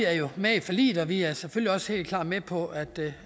er jo med i forliget vi er selvfølgelig også helt klart med på at det